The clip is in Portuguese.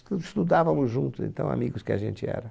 Estudávamos juntos, de tão, amigos que a gente era.